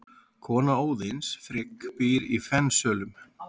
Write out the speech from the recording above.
Kona Óðins, Frigg, býr í Fensölum.